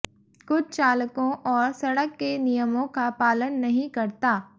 कुछ चालकों और सड़क के नियमों का पालन नहीं करता